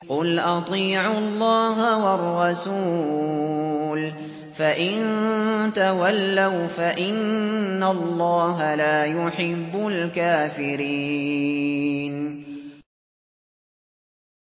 قُلْ أَطِيعُوا اللَّهَ وَالرَّسُولَ ۖ فَإِن تَوَلَّوْا فَإِنَّ اللَّهَ لَا يُحِبُّ الْكَافِرِينَ